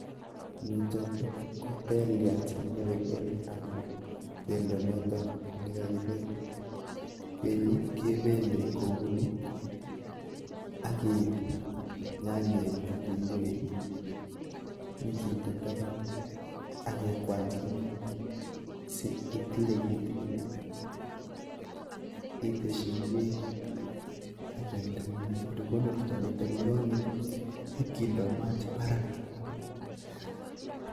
Nitok ko teliat anan pendo notok nekakipel. Anan pendo notok nekakipel. Penyi kepelei kouni akeip nyanyek, kitunguik nyikende tapan. Ak kekwany kimiet si itile kitigin iteshi ingwek ak iamte kimiet. Olekikonortoi netok nekang'et nyipkindoi mat barak.